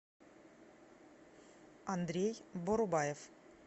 андрей борубаев